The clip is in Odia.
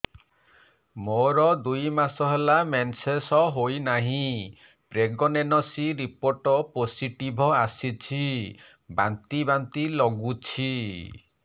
ମୋର ଦୁଇ ମାସ ହେଲା ମେନ୍ସେସ ହୋଇନାହିଁ ପ୍ରେଗନେନସି ରିପୋର୍ଟ ପୋସିଟିଭ ଆସିଛି ବାନ୍ତି ବାନ୍ତି ଲଗୁଛି